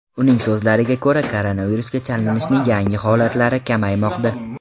Uning so‘zlariga ko‘ra, koronavirusga chalinishning yangi holatlari kamaymoqda.